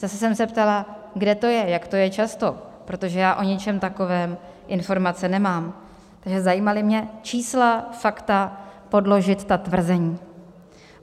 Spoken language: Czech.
Zase jsem se ptala, kde to je, jak to je často, protože já o něčem takovém informace nemám, takže zajímala mě čísla, fakta, podložit ta tvrzení.